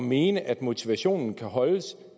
mene at motivationen kan holdes